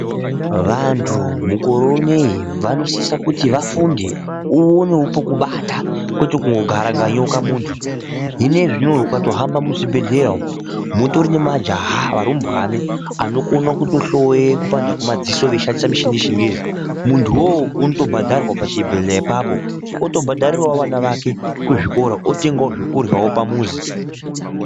Vanhu mukore uno vanosise kuti vafunde uonewo pekubata kwete kungogara kunga nyoka muntu hino iyezvino ukatohambe muzvibhehleya umwu mutori nemajaha varumbweni vanokone kutohloye kupanda kwemadziso veishandise michini yechingezi munhuwo unotobhadharwa pachibhehleya apapo otobhadharirawo ana ake kuzvikora otengawo zvekurya pamuzi.